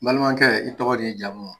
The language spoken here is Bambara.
N balimankɛ i tɔgɔ n'i jamu?